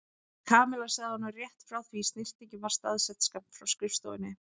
Kamilla sagt honum rétt frá því snyrtingin var staðsett skammt frá skrifstofunni.